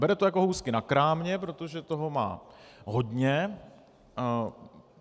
Bere to jako housky na krámě, protože toho má hodně.